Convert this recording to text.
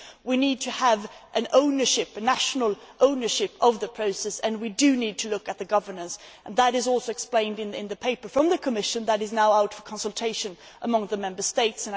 We need to have national ownership of the process and we need to look at governance. That is also explained in the paper from the Commission, which is now out for consultation among the Member States.